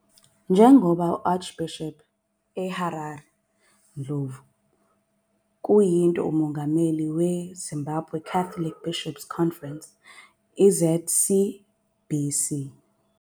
Njengoba u-Archbishop eHarare Ndlovu kuyinto uMongameli we Zimbabwe Catholic Bishops 'Conference, ZCBC.